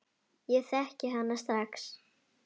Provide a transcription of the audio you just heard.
Ég þekkti hana strax.